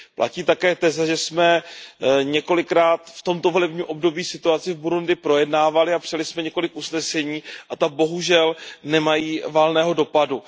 Platí také teze, že jsme několikrát v tomto volebním období situaci v Burundi projednávali a psali jsme několik usnesení, a ta bohužel nemají valného dopadu.